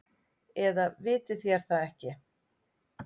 Eða vitið þér það ekki.